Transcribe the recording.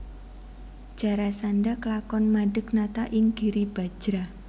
Jarasandha klakon madeg nata ing Giribajra